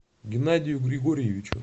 геннадию григорьевичу